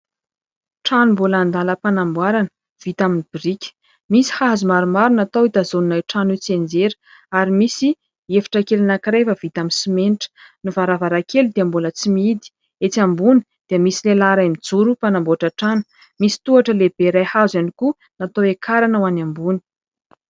Trano mbola andalam-panamboarana vita amin'ny biriky, misy hazo maromaro natao hitazonana io trano tsy hianjera ary misy efitra kely anankiray vao vita amin'ny simenitra. Ny varavarankely dia mbola tsy mihidy, etsy ambony dia misy lehilahy iray mijoro mpanamboatra trano misy tohatra lehibe iray hazo ihany koa natao hiakarana ho any ambony.